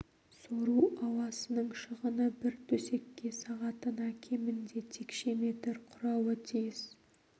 сору ауасының шығыны бір төсекке сағатына кемінде текше метр құрауы тиіс